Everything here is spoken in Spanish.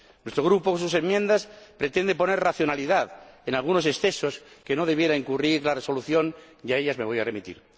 Nuestro Grupo, con sus enmiendas, pretende poner racionalidad en algunos excesos en que no debería incurrir la Resolución, y a ellas me voy a remitir.